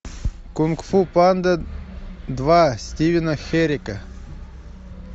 кунг фу панда два стивена херека